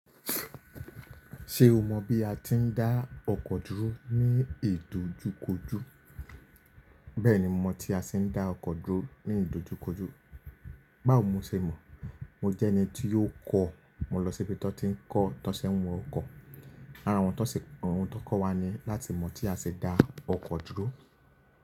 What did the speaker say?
Ṣé o mọ bí a ti ń dá ọkọ̀ dúró ní ìdojúkojú? Bẹ́ẹ̀ni, mo mọ tí a ti ń dá ọkọ̀ dúró ní ìdojúkojú. Báwo ni mo ṣe mọ̀? Mo jẹ́ ẹni tí ó kọ́. Mo lọ síbi tọ́ n ti ń kọ́, tọsẹ́ n wọ okọ. Ara àwọn to se, awon tó kọ́ wa ni láti mọ̀ tí a ṣe dá ọkọ̀ dúró.